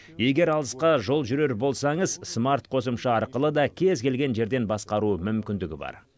егер алысқа жол жүрер болсаңыз смарт қосымша арқылы да кез келген жерден басқару мүмкіндігі бар